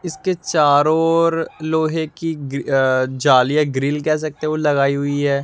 इसके चारों ओर लोहे की ग्री जालियां ग्रिल कह सकते हो लगाई हुई है।